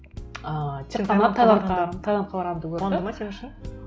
ыыы тек қана таиландқа барғанымды көрді қуанды ма сен үшін